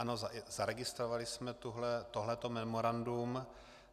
Ano, zaregistrovali jsme toto memorandum.